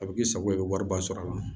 A bɛ k'i sago ye i bɛ wariba sɔrɔ a la